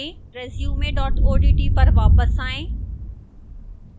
resume odt पर वापस आएं